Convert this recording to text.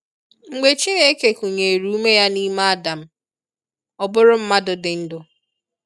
Mgbe Chineke kụnyere úme ya n’ime Adam, ọ bụrụ mmadụ dị ndụ.